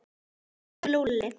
Elsku Lúlli.